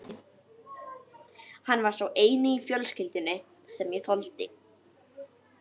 Hann var sá eini í fjölskyldunni sem ég þoldi.